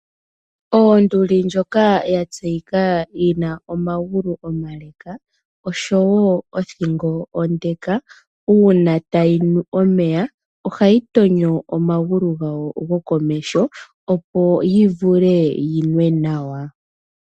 Onduli oya tseyika yi na omagulu omale noshowo othingo onde. Uuna tayi nu omeya, ohayi tonyo omagulu gayo gokomeho opo yi vule yi nwe nawa.